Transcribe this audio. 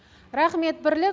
рахмет бірлік